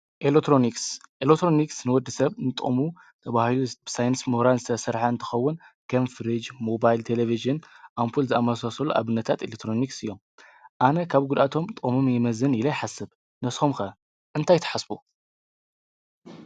ን ኤሎትሮንክስ ንወዲ ሰብ ንጦሙ ብሂዩ ብሳይንስ ምኅራንዝተ ሠርኃ እንተኸውን ጌምፍርጅ ሞባይል ተሌብሽን ኣምፑል ዝኣማሣሰሉ ኣብነታት ኤለጥሮንክስ እዮም ኣነ ኻብ ጕድኣቶም ጠሙም የመዝን ኢለ ይሓሰብ ነስምከ እንታ ይተሓስቡ፡፡